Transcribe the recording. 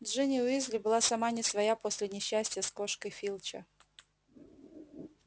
джинни уизли была сама не своя после несчастья с кошкой филча